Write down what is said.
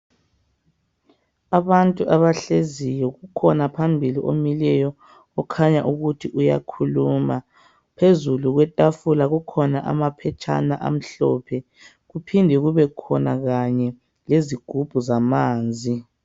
Abantu abahleziyo kukhona phambili omileyo okhanya ukuthi uyakhuluma ,phezulu kwetafula kukhona amaphetshana amhlophe kuphinde kube khona Kanye lezigubhu zamanzi.